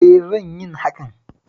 E, zan so yin hakan